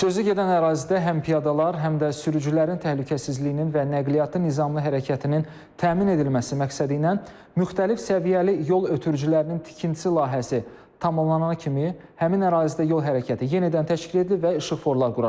Sözü gedən ərazidə həm piyadalar, həm də sürücülərin təhlükəsizliyinin və nəqliyyatın nizamlı hərəkətinin təmin edilməsi məqsədi ilə müxtəlif səviyyəli yol ötürücülərinin tikintisi layihəsi tamamlanana kimi həmin ərazidə yol hərəkəti yenidən təşkil edilib və işıqforlar quraşdırılıb.